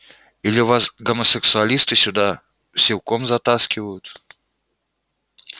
или вас гомосексуалисты сюда силком затаскивают